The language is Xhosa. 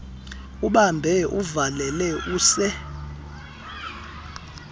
ubambe uvalele use